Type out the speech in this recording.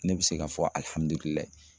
Ne bɛ se ka fɔ